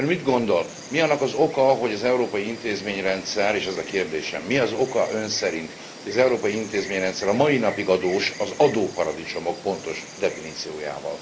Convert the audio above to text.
Ön mit gondol, mi annak az oka, hogy az európai intézményrendszer és ez a kérdésem mi az oka Ön szerint, hogy az európai intézményrendszer a mai napig adós az adóparadicsomok pontos definíciójával?